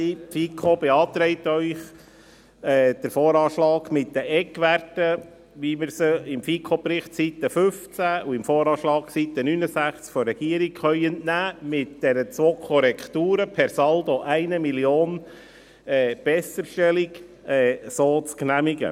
Die FiKo beantragt Ihnen, den VA mit den Eckwerten, wie wir sie im FiKo-Bericht auf Seite 15 und im VA auf Seite 69 der Regierung entnehmen können, mit den zwei Korrekturen – per Saldo 1 Mio. Franken Besserstellung – zu genehmigen.